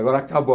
Agora acabou.